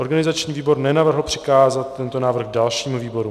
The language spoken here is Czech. Organizační výbor nenavrhl přikázat tento návrh dalšímu výboru.